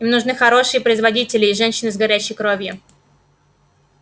им нужны хорошие производители и женщины с горячей кровью